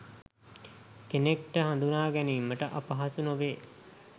කෙනෙක්ට හදුනාගැනීමට අපහසු නොවේ